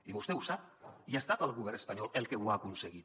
i vostè ho sap i ha estat el govern espanyol el que ho ha aconseguit